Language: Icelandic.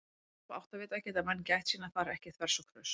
Með hjálp áttavita geta menn gætt sín að fara ekki þvers og kruss!